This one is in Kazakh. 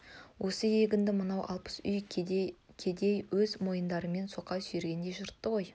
осы егінді мынау алпыс үй кедей өз мойындарымен соқа сүйрегендей жыртты ғой